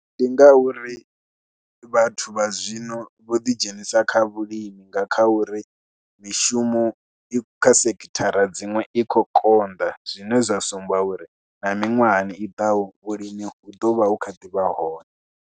Ndi ngauri vhathu vha zwino vho ḓidzhenisa kha vhulimi, nga kha uri mishumo i kha sekithara dziṅwe i khou konḓa zwine zwa sumbedza uri na miṅwahani i ḓaho vhulimi vhu ḓo vha vhu kha ḓi vha hone.